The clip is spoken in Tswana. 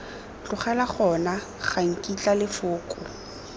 tlogela gona ga nkitla lefoko